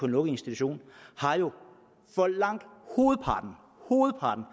lukket institution for langt hovedpartens